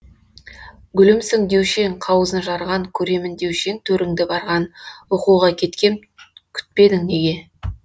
гүлімсің деуші ең қауызын жарған көремін деуші ең төріңді барған оқуға кеткем күтпедің неге